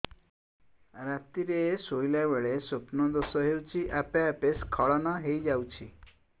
ରାତିରେ ଶୋଇଲା ବେଳେ ସ୍ବପ୍ନ ଦୋଷ ହେଉଛି ଆପେ ଆପେ ସ୍ଖଳନ ହେଇଯାଉଛି